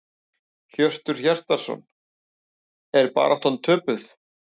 Hjörtur Hjartarson: Er baráttan töpuð?